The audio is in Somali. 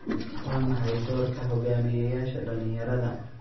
Waa maxay doorka hogaamiyayaasha dhalinyarada?